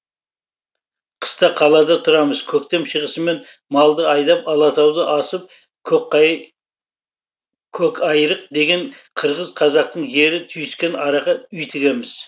қыста қалада тұрамыз көктем шығысымен малды айдап алатауды асып көкайрық деген қырғыз қазақтың жері түйіскен араға үй тігеміз